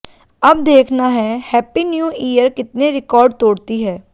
अब देखना है हैप्पी न्यू ईयर कितने रिकॉर्ड तोड़ती है